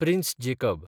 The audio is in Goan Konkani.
prince Jacob